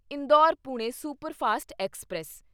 Indore Pune superfast express